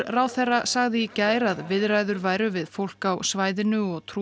ráðherra sagði í gær að viðræður væru við fólk á svæðinu og